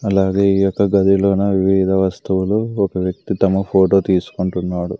అలాగే ఈ యొక్క గదిలోన వివిధ వస్తువులు ఒక వ్యక్తి తమ ఫోటో తీసుకుంటున్నాడు.